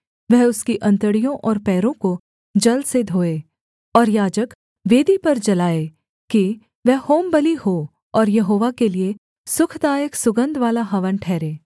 वह उसकी अंतड़ियों और पैरों को जल से धोए और याजक वेदी पर जलाए कि वह होमबलि हो और यहोवा के लिये सुखदायक सुगन्धवाला हवन ठहरे